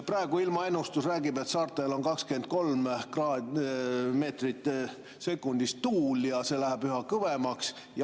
Praegu ilmaennustus räägib, et saartel on tuul 23 meetrit sekundis ja see läheb üha kõvemaks.